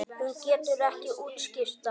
Hún getur ekki útskýrt það.